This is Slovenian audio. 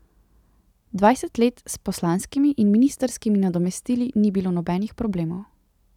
Dvajset let s poslanskimi in ministrskimi nadomestili ni bilo nobenih problemov.